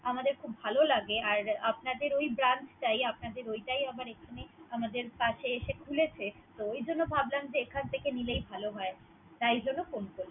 আমাদের খুব ভালো লাগে। আর আপনাদের ওই Branch টাই। আপনাদের ওটাই আবার আমাদের এখানে আমাদের কাছে এসে খুলেছে। তো ও জন্য ভাবলাম যে এখান থেকে নিলেই ভালো হয়। তাই জন্য ফোন করলাম।